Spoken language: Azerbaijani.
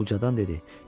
Ucadan dedi: